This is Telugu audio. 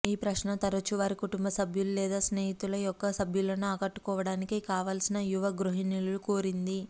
ఈ ప్రశ్న తరచూ వారి కుటుంబ సభ్యుల లేదా స్నేహితుల యొక్క సభ్యులను ఆకట్టుకోవడానికి కావలసిన యువ గృహిణులు కోరింది